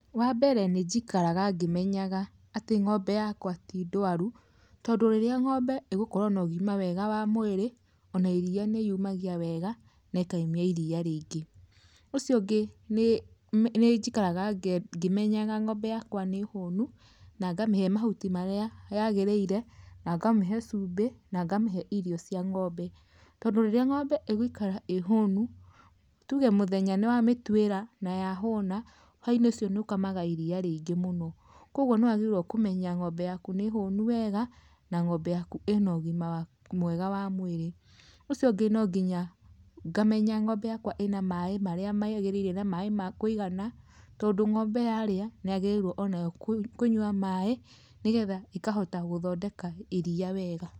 Wambere nĩ njikaraga ngĩmenyaga atĩ ng'ombe yakwa ti ndwaru, tondũ rĩrĩa ng'ombe ĩgũkorwo na ũgima wega wa mwĩrĩ, ona iria nĩ yumagia wega nekaimia iria rĩingĩ. Ũcio ungĩ nĩnjikaraga ngĩmenyaga ng'ombe yakwa nĩ hũnu, na ngamĩhe mahuti marĩa yagĩrĩire, na ngamĩhe cumbĩ na ngamĩhe irio cia ngombe. Tondũ rĩrĩa ng'ombe ĩgũikara ĩ hũnu, tuge mũthenya nĩwamĩtuira na ya hũna, hwainĩ ũcio nĩ ũkamaga iria rĩingĩ mũno. Kwogwo nĩwagĩrĩirwo kũmenya ng'ombe yaku nĩ hũnu wega na ng'ombe yaku ĩnogima mwega wa mwĩrĩ. Ũcio ũngĩ nonginya ngamenya ng'ombe yakwa ĩna maaĩ marĩa magĩrĩire na maaĩ ma kũigana, tondũ ng'ombe yarĩa nĩyagĩrĩirwo ona kũnyua maaĩ, nĩgetha ĩkahota gũthondeka iria wega.